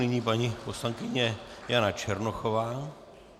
Nyní paní poslankyně Jana Černochová.